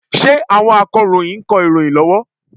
Ṣé àwọn Akọ̀ròyìn ń kọ ìròyìn lọ́wọ́?